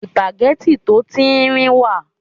sùpàgẹ́tì tó tíńrín wà